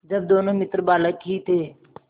जब दोनों मित्र बालक ही थे